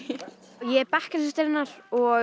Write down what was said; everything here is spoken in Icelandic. ég er bekkjarsystir hennar og